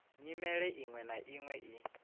nyimele iṅwe na iṅwe i